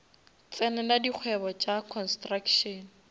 tsenela dikgwebo tša construction